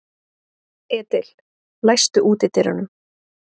Edil, læstu útidyrunum.